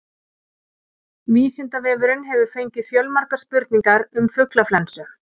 Vísindavefurinn hefur fengið fjölmargar spurningar um fuglaflensu.